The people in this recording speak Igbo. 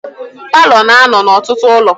Paalọ na-anụ n'ọtụtụ ụlọ.